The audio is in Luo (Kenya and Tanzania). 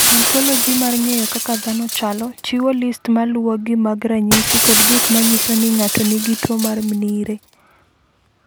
"Ontoloji mar ng’eyo kaka dhano chalo, chiwo list ma luwogi mag ranyisi kod gik ma nyiso ni ng’ato nigi tuwo mar Mnire."